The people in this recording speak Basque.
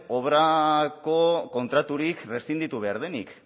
obrako kontraturik reszinditu behar denik